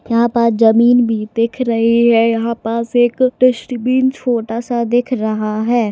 यहा पास जमीन भी दिख रही है यहा पास एक डस्टबीन छोटासा दिख रहा है।